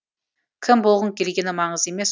кім болғың келгені маңызды емес